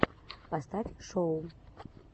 поставь шоу